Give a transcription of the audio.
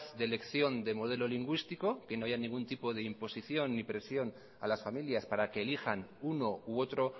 de elección de modelo lingüístico que no haya ningún tipo de imposición ni presión a las familias para que elijan uno u otro